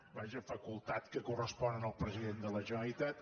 vaja facultat que correspon al president de la generalitat